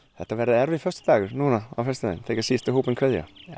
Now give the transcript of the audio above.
þetta verðu erfiður föstudagur þegar síðasti hópurinn kveður